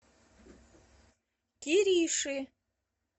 кириши